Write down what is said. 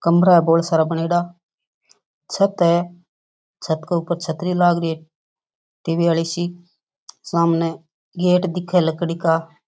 कमरा बहोत सारा बनेड़ा छत है छत के ऊपर छतरी लाग री है टी.वी. वाली सी सामने गेट दिखे लकड़ी का।